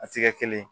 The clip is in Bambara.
A tɛ kɛ kelen ye